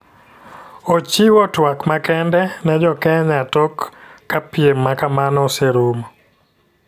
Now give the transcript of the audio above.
Ochiwo twak makende ne jo Kneya tok jka piem makamano oseruomo